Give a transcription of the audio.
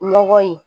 Lɔgɔ ye